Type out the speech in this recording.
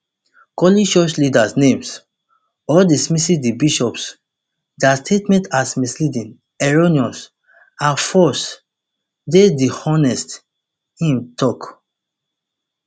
calling church leaders names or dismissing di bishops dia statement as misleading erroneous and false dey dishonest im tok